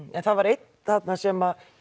en það var einn þarna sem